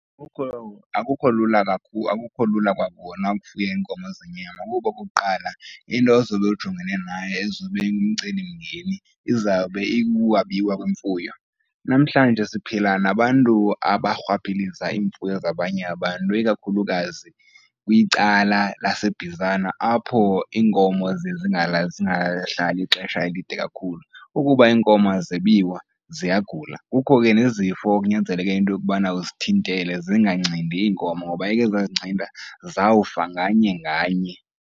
Akukho , akukho lula kwakona ukufuya iinkomo zenyama. Ngoku okokuqala, into ozobe ujongene nayo ezobe ingumcelimngeni izawube ikukwabiwa kwemfuno. Namhlanje siphila nabantu abarhwaphiliza iimfuyo zabanye abantu, ikakhulukazi kwicala laseBizana apho iinkomo zingahlali ixesha elide kakhulu. Ukuba iinkomo azebiwa ziyagula, kukho ke nezifo ekunyanzeleke into yokubana uzithintele zingacindi iinkomo ngoba eke zazincinda zawufa nganye nganye.